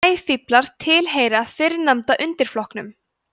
sæfíflar tilheyra fyrrnefnda undirflokknum